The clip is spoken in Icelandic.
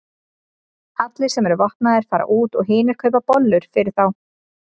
Allir sem eru vopnaðir fara út og hinir kaupa bollur fyrir þá.